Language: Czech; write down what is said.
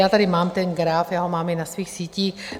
Já tady mám ten graf, já ho mám i na svých sítích.